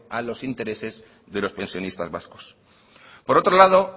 a los intereses de los pensionistas vascos por otro lado